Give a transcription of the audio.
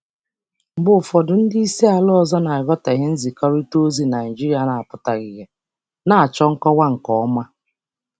Mgbe ụfọdụ, ndị oga si mba mba ọzọ aghọtahị nkwurịta okwu Naịjirịa na-abụghị ozugbo, na-achọ nkọwa nke ọma.